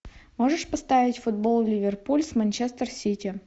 можешь поставить футбол ливерпуль с манчестер сити